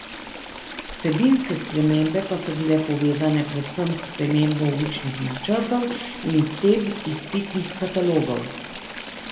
Vsebinske spremembe pa so bile povezane predvsem s spremembo učnih načrtov in s tem izpitnih katalogov.